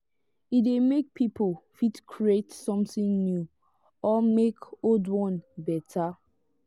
e de make people fit create something new or make old one betta